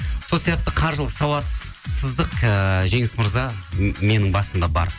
сол сияқты қаржылық сауатсыздық ііі жеңіс мырза менің басымда бар